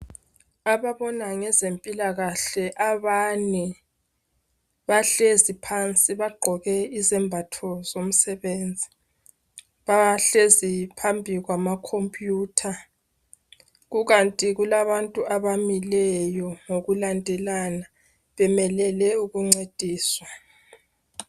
Ababona ngezempilakahle abane bahlezi phansi bagqoke izembatho zomsebenzi. Bahlezi phambi kwama computer .Kukanti kulabantu abamileyo ngokulandelayo bemelele ukuncediswa.